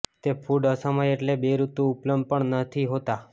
તે ફૂડ અસમય એટલે બેઋતુ ઉપલબ્ધ પણ નથી હોતા